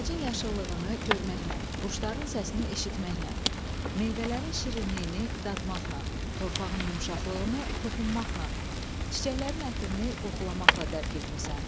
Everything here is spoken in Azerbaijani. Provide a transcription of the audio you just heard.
Ağacın yaşıllığını görməklə, quşların səsini eşitməklə, meyvələrin şirinliyini dadmaqla, torpağın yumşaqlığını toxunmaqla, çiçəklərin ətrini qoxulamaqla dərk etmisən.